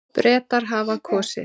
Bretar hafa kosið.